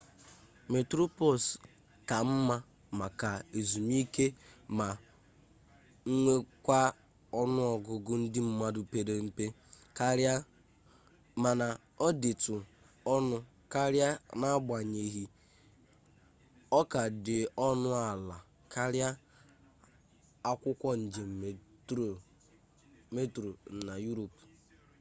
metroplus ka mma maka ezumike ma nwekwaa ọnụ ọgụgụ ndị mmadụ pere mpe karịa mana ọ dịtụ ọnụ karịa n'agbanyeghi ọ ka dị ọnụ ala karịa akwụkwọ njem metro na yurop